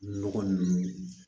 Nɔgɔ ninnu